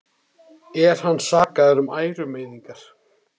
Er hann sakaður um ærumeiðingar